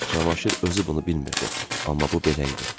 Cavanşir özü bunu bilmirdi, amma bu belə idi.